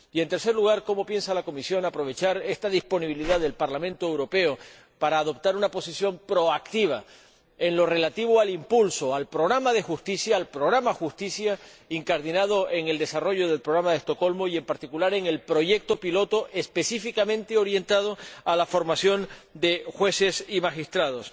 Y, en tercer lugar, cómo piensa aprovechar la Comisión esta disponibilidad del Parlamento Europeo para adoptar una posición proactiva en lo relativo al impulso del programa de justicia, incardinado en el desarrollo del Programa de Estocolmo y, en particular, del proyecto piloto específicamente orientado a la formación de jueces y magistrados,